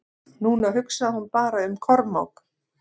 Núna hugsaði hún bara um Kormák.